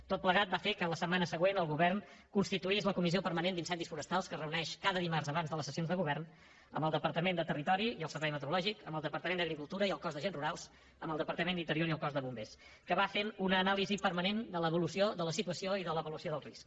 tot plegat va fer que la setmana següent el govern constituís la comissió permanent d’incendis forestals que es reuneix cada dimarts abans de les sessions de govern amb el departament de territori i el servei meteorològic amb el departament d’agricultura i el cos d’agents rurals amb el departament d’interior i el cos de bombers que va fent una anàlisi permanent de l’evolució de la situació i de l’evolució del risc